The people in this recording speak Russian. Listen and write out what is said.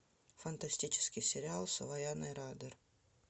фантастический сериал с вайноной райдер